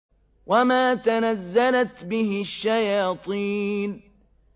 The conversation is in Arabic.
وَمَا تَنَزَّلَتْ بِهِ الشَّيَاطِينُ